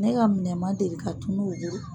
Ne ka minɛn ma deli ka tunun o bolo.